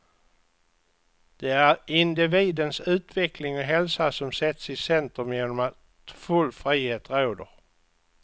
Det är individens utveckling och hälsa som sätts i centrum genom att full frihet råder.